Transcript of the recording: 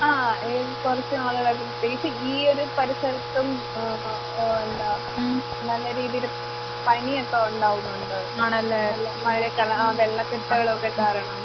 ആഹ് ഏ കൊറച്ച് നാളുകൾ പ്രത്യേകിച്ച് ഈയൊരു പരിസരത്തും ആഹ് ഓ എന്താ നല്ല രീതീല് പനിയൊക്കെയൊണ്ടാകുന്നൊണ്ട്. നല്ല മഴേക്കെള്ള ആ വെള്ളക്കെട്ടുകളൊക്കെ കാരണം.